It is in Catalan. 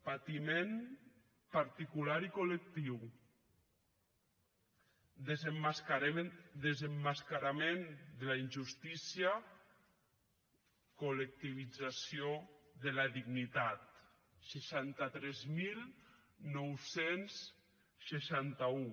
patiment particular i col·lectiu desemmascarament de la injustícia col·lectivització de la dignitat seixanta tres mil nou cents i seixanta un